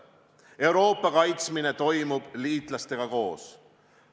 Euroopa kaitsmine toimub liitlastega koos.